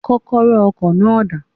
Kókóró ọkò náà dà?